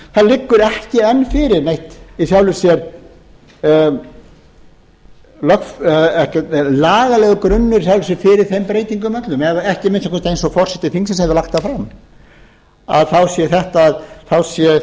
það liggur ekki enn fyrir neitt í sjálfu sér lagalegur grunnur í sjálfu sér fyrir þeim breytingum öllum ekki að minnsta kosti eins og forseti þingsins hefur lagt það fram að þá séu